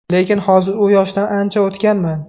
Lekin hozir u yoshdan ancha o‘tganman.